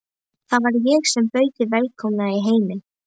Það var ég sem bauð þig velkomna í heiminn.